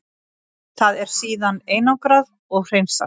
Það er síðan einangrað og hreinsað.